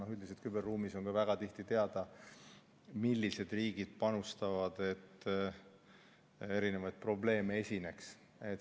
Aga üldiselt küberruumis on ka väga tihti teada, millised riigid panustavad, et erinevaid probleeme esineks.